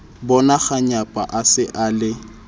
bonakganyapa a se a le